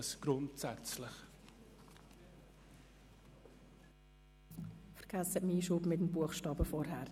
Vergessen Sie meinen Hinweis bezüglich des Einschubs des Buchstabens von vorhin.